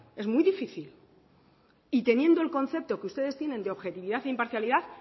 es muy difícil y teniendo el concepto que ustedes tienen de objetividad e imparcialidad